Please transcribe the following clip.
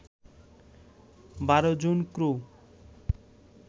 ১২ জন ক্রু